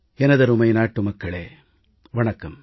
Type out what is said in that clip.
எனதருமை நாட்டுமக்களே வணக்கம்